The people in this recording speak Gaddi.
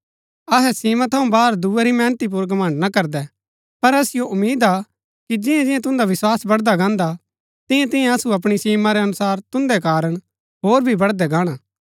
अहै सीमा थऊँ बाहर दूये री मेहनती पुर घमण्ड़ ना करदै पर असिओ उम्मीद हा कि जियां जियां तुन्दा विस्वास बड़दा गाणा तियां तियां असु अपणी सीमा रै अनुसार तुन्दै कारण होर भी बढ़दै गाणा